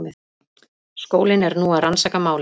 Skólinn er nú að rannsaka málið